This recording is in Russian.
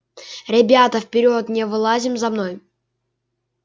ребята вперёд не вылазим за мной